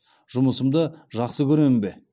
жұмысымды жақсы көремін бе